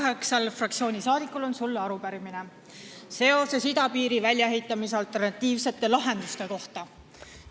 Vabaerakonna fraktsiooni kaheksal liikmel on sulle arupärimine idapiiri väljaehitamise alternatiivsete lahenduste kohta.